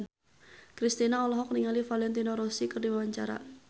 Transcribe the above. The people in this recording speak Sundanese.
Kristina olohok ningali Valentino Rossi keur diwawancara